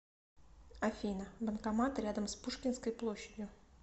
афина банкомат рядом с пушкинской площадью